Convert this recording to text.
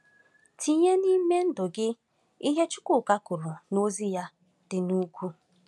Tinye n’ime ndụ gị ihe Chukwuka kwuru n’Ozi ya dị n’ugwu.